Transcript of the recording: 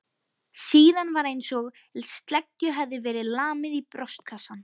Síðan var einsog sleggju hefði verið lamið í brjóstkassann.